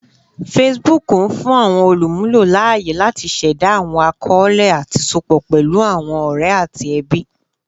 Facebook n fun awọn olumulo laaye lati ṣẹda awọn akọọlẹ ati sopọ pẹlu awọn ọrẹ ati ẹbi